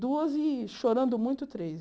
Duas e, chorando muito, três.